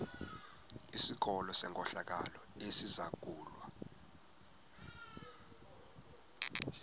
sikolo senkohlakalo esizangulwa